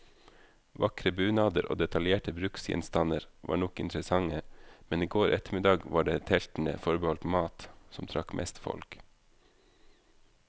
Vakre bunader og detaljerte bruksgjenstander var nok interessante, men i går ettermiddag var det teltene forbeholdt mat, som trakk mest folk.